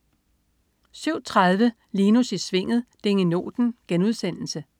07.30 Linus i Svinget. Dingenoten*